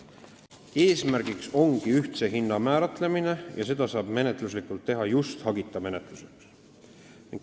Eesmärk ongi ühtse hinna kindlaksmääramine ja seda saab menetluslikult teha just hagita menetlusel.